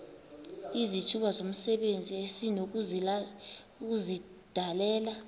izithuba zomsebenzi esinokuzidalela